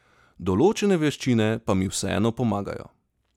Določene veščine pa mi vseeno pomagajo.